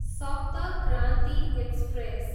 सप्त क्रान्ति एक्सप्रेस